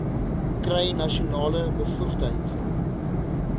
kry nasionale bevoegdheid